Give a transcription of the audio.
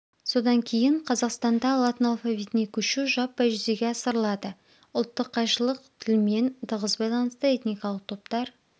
содан кейін қазақстанда латын алфавитіне көшу жаппай жүзеге асырылады ұлттық қайшылық тілмен тығыз байланысты этникалық топтар